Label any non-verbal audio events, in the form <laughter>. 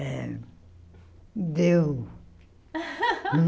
É deu <laughs>